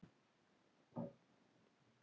Þín dóttir, Helena.